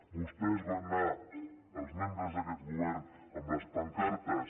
vostès van anar els membres d’aquest govern amb les pancartes